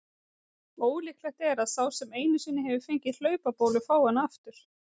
Ólíklegt er að sá sem einu sinni hefur fengið hlaupabólu fái hana aftur.